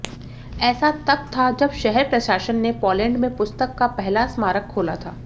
ऐसा तब था जब शहर प्रशासन ने पोलैंड में पुस्तक का पहला स्मारक खोला था